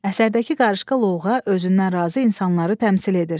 Əsərdəki qarışqa loğğa, özündən razı insanları təmsil edir.